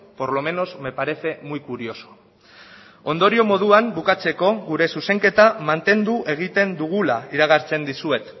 por lo menos me parece muy curioso ondorio moduan bukatzeko gure zuzenketa mantendu egiten dugula iragartzen dizuet